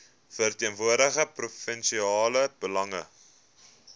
verteenwoordig provinsiale belange